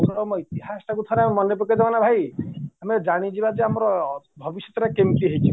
ଗୌତମ ଇତିହାସଟାକୁ ଠାରେ ମନେପକେଇ ଦବା ଭାଇ ଆମେ ଜାଣିଯିବାଯେ ଆମର ଭବିଷ୍ୟତ କେମିତି ହେଇଯିବ